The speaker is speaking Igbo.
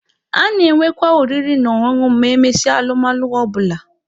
A na-enwekwa oriri na ọṅụṅụ ma emesịa alụmalụ ọ bụla.